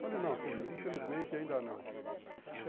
Falei, não filho, infelizmente ainda não.